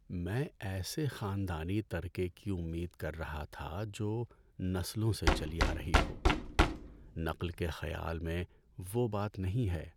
میں ایسے خاندانی ترکے کی امید کر رہا تھا جو نسلوں سے چلی آ رہی ہو۔ نقل کے خیال میں وہ بات نہیں ہے۔